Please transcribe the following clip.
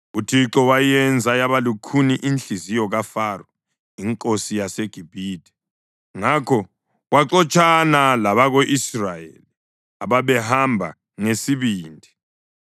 UThixo wayenza yaba lukhuni inhliziyo kaFaro inkosi yaseGibhithe, ngakho waxotshana labako-Israyeli ababehamba ngesibindi.